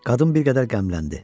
Qadın bir qədər qəmləndi.